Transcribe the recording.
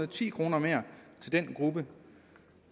ti kroner mere til den gruppe